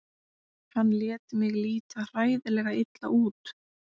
Hann lét mig líta hræðilega illa út.